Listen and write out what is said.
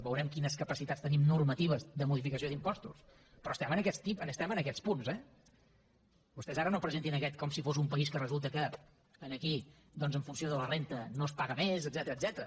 veurem quines capacitats tenim normatives de modificació d’impostos però estem en aquests punts eh vostès ara no presentin aquest com si fos un país que resulta que aquí doncs en funció de la renda no es paga més etcètera